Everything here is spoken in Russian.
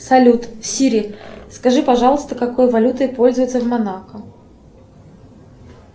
салют сири скажи пожалуйста какой валютой пользуются в монако